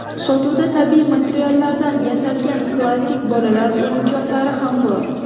Sotuvda tabiiy materiallardan yasalgan klassik bolalar o‘yinchoqlari ham bor.